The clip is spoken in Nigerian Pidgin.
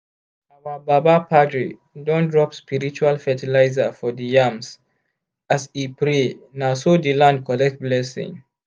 our baba padre don drop spiritual fertilizer for di yams as e pray na so di land collect blessing.